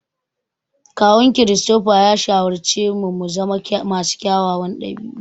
Kawun Christopher ya shawarci mu muzama masu kyawawan ɗabi'u.